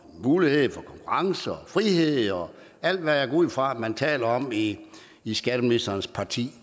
mulighed for konkurrence og frihed og alt hvad jeg går ud fra at man også taler om i i skatteministerens parti